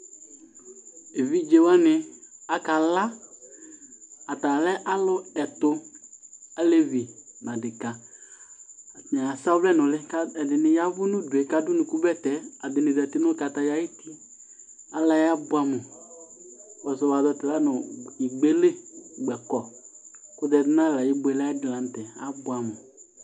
évidze wani akală atalɛ alʊ ɛtũ alévĩ na adékă atani asa ɔvlẽ nũlï ka ɛdïnï yavũ nudué kadũ ũnukũ bɛtɛ atani zati nũ kataya yũti alayɛ abuẽ amũ kpõssɔ wazɔ tɛla nũ igbélé gbɛkɔ kũzɛ dũnalɛ ayibuélé ayidi la ntɛ abũamũ